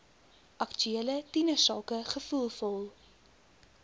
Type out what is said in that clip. aktuele tienersake gevoelvol